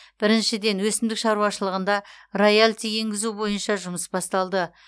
біріншіден өсімдік шаруашылығында роялти енгізу бойынша жұмыс басталды